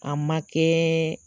A ma kɛɛɛ